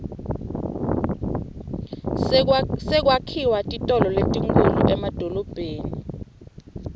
sekwakhiwa titolo letinkhulu emadolobheni